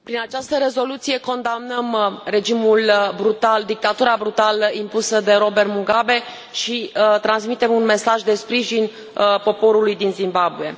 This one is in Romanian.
Prin această rezoluție condamnăm regimul brutal, dictatura brutală impusă de Robert Mugabe și transmitem un mesaj de sprijin poporului din Zimbabwe.